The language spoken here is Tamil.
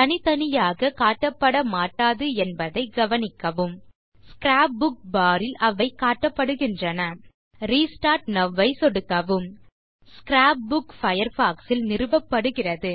தனித்தனியாக காட்டப்பட மாட்டாது என்பதை கவனிக்கவும் ஸ்க்ராப் புக் பார் ல் அவை காட்டப்படுகின்றன ரெஸ்டார்ட் நோவ் ஐ சொடுக்கவும் ஸ்க்ராப் புக் பயர்ஃபாக்ஸ் ல் நிறுவப்படுகிறது